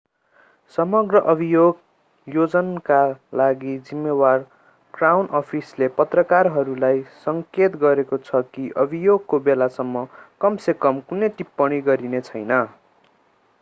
समग्र अभियोजनका लागि जिम्मेवार क्राउन अफिसले पत्रकारहरूलाई संकेत गरेको छ कि अभियोगको बेलासम्म कम से कम कुनै टिप्पणी गरिने छैन